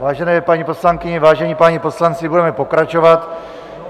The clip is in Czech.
Vážené paní poslankyně, vážení páni poslanci, budeme pokračovat.